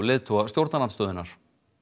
leiðtoga stjórnarandstöðunnar